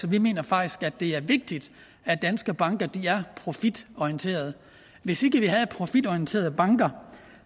vi mener faktisk at det er vigtigt at danske banker er profitorienterede hvis ikke vi havde profitorienterede banker